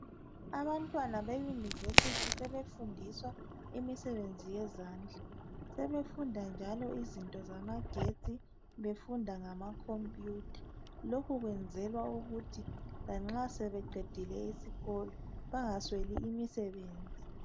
Abantwana be university sebefundiswa imisebenzi yezandla sebefunda njalo eizinto zamagetsi befunda ngama computer lokhu kwenzelwa ukuthi lanxa sebeqedile isikolo bangasweli imisebenzi.